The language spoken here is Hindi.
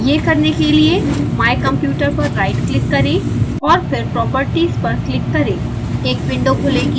यह करने के लिए my computer पर राइट क्लिक करें और फिर properties पर क्लिक करें